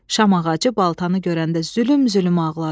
Şam ağacı baltanı görəndə zülüm-zülüm ağladı.